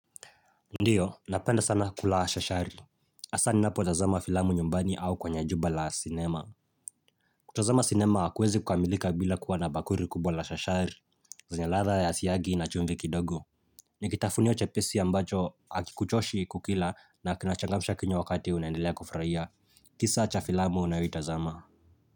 Ndiyo, napenda sana kula shashari. Hasa ninapotazama filamu nyumbani au kwa jumba la cinema. Kutazama cinema hakuwezi kukamilika bila kuwa na bakuri kubwa la shashari, zenya ladha ya siyagi na chumvi kidogo. Ni kitafunio chepesi ambacho hakikuchoshi kukila na kinachangamsha kinywa wakati unaendelea kufurahia. Kisa cha filamu unayoitazama.